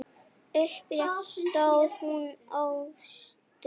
Upprétt stóð hún óstudd.